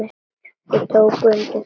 Þau tóku undir það.